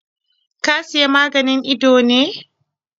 Ka Siya maganin idon ne?